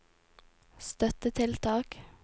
støttetiltak